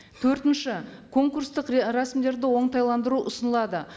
төртінші конкурстық рәсімдерді оңтайландыру ұсынылады